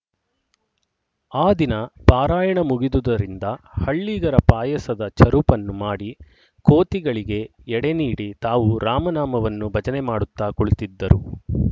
ಆ ದಿನ ಪಾರಾಯಣ ಮುಗಿದುದರಿಂದ ಹಳ್ಳಿಗರ ಪಾಯಸದ ಚರುಪನ್ನು ಮಾಡಿ ಕೋತಿಗಳಿಗೆ ಎಡೆ ನೀಡಿ ತಾವು ರಾಮನಾಮವನ್ನು ಭಜನೆ ಮಾಡುತ್ತಾ ಕುಳಿತಿದ್ದರು